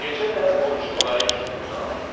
Gecə də orucluq ayı kimi uzanırdı.